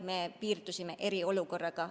Me piirdusime eriolukorraga.